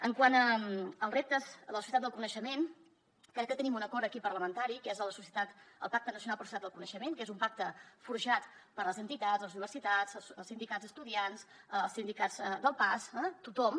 quant als reptes de la societat del coneixement crec que tenim un acord aquí parlamentari que és el pacte nacional per a la societat del coneixement que és un pacte forjat per les entitats les universitats els sindicats d’estudiants els sindicats del pas tothom